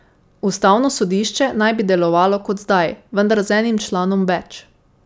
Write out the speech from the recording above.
Ustavno sodišče naj bi delovalo kot zdaj, vendar z enim članom več.